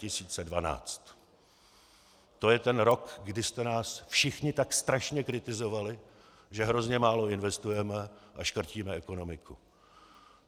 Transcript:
To je ten rok, kdy jste nás všichni tak strašně kritizovali, že hrozně málo investujeme a škrtíme ekonomiku.